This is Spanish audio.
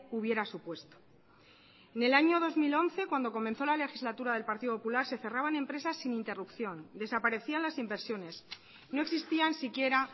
hubiera supuesto en el año dos mil once cuando comenzó la legislatura del partido popular se cerraban empresas sin interrupción desaparecían las inversiones no existían siquiera